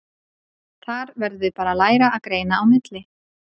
Þar verðum við bara að læra að greina á milli.